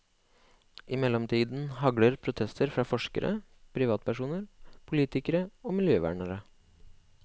I mellomtiden hagler protestene fra forskere, privatpersoner, politikere og miljøvernere.